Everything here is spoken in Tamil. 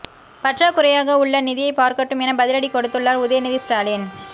பற்றாக்குறையாக உள்ள நிதியை பார்க்கட்டும் என பதிலடி கொடுத்துள்ளார் உதயநிதி ஸ்டாலின்